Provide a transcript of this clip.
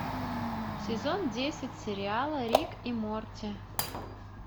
сезон десять сериала рик и морти